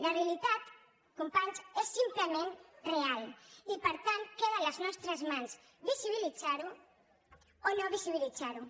la realitat companys és simplement real i per tant queda a les nostres mans visibilitzar ho o no visibilitzar ho